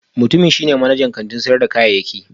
Mutumin shi ne manajan kantin sayar da kayayyaki